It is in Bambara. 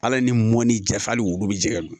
Ala ni mɔni jafa hali wulu bɛ jɛgɛn